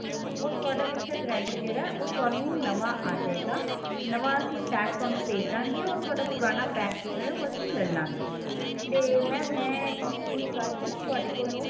ਉਹ ਤੁਹਾਡਾ mixer grinder ਜਿਹੜਾ ਹੈ ਥੋਨੂੰ ਨਵਾ ਅਜੇਗਾ ਨਵਾਂ ਅਸੀਂ pack ਥੋਨੂੰ ਭੇਜਦਾ ਗੇ ਉਹ ਥੋੜਾ ਪੁਰਾਨ pack ਹੈ ਉਹ ਅਸੀਂ ਲੈ ਲਵਾਂਗੇ ਤੇ mam ਮੈਂ ਇਸ ਚੀਜ਼ ਵਾਸਤੇ ਨਾ ਤੁਹਾਡੇ ਕੋਲੋਂ